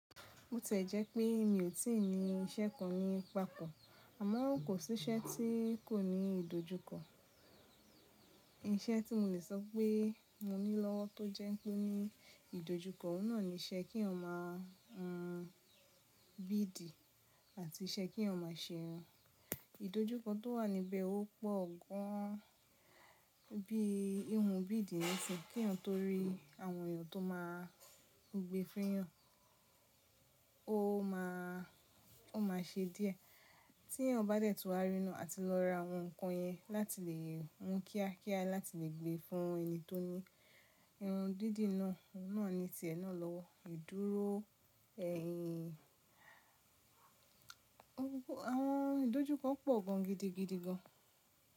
Bo tiẹ́ jẹ́ pé mi ò tí ì ní iṣẹ́ kan ní patọ̀, àmọ́ kò sí iṣẹ́ tí kò ní ìdojúkọ. Iṣẹ́ tí mo lè sọ pé mo ní lọ́wọ́ tó jẹ́ pé ó ní ìdojúkọ, ọ̀unà ní iṣẹ́ kí eeyan ma hun biidi àti iṣẹ́ kí eeyan má ṣe. Ìdojúkọ tó wà níbẹ̀ ó pọ̀ gan bí ihun biidi n ṣin kí eeyan too rí àwọn èèyàn tó máa gbé fún eyan, ó ma ṣe díẹ̀ tí ẹyan bá dẹ̀ tún wá rí naa àti lọ ra àwọn nǹkan yẹn láti lè hun kíákíá láti lè gbé fún ẹni tó ní irun dídì náà, náà ni tìẹ̀ náà lọ́wọ́. Ìdúró ẹ̀yìn, àwọn ìdojúkọ pọ̀ gan gidigidi gan.